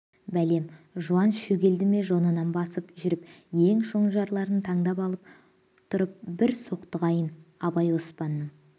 бәлем жуан шөгелді ме жонынан басып жүріп ең шонжарларын тандап алып тұрып бір соқтығайын абай оспанның